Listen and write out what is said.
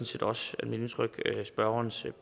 set også mit indtryk at det gælder spørgerens